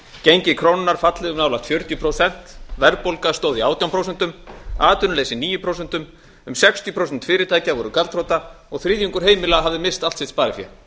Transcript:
gengi krónunnar fallið um hægt fjörutíu prósent verðbólga stóð í átján prósentum atvinnuleysi níu prósentum um sextíu prósent fyrirtækja gjaldþrota og þriðjungur heimila hafði misst allt sitt sparifé